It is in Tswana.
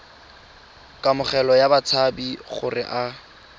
kamogelo ya batshabi gore a